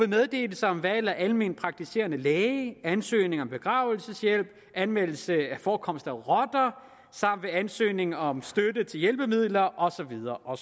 meddelelse om valg af almenpraktiserende læge ansøgning om begravelseshjælp anmeldelse af forekomster af rotter samt ved ansøgning om støtte til hjælpemidler og så videre og